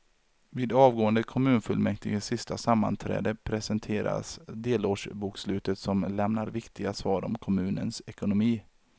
Vid avgående kommunfullmäktiges sista sammanträde presenteras delårsbokslutet som lämnar viktiga svar om kommunens ekonomi.